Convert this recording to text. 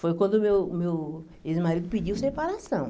Foi quando o meu meu ex-marido pediu separação.